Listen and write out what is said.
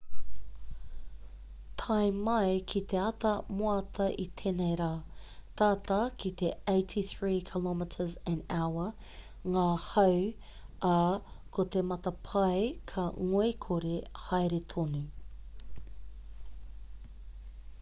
tae mai ki te ata moata i tēnei rā tata ki te 83 km/h ngā hau ā ko te matapae ka ngoikore haere tonu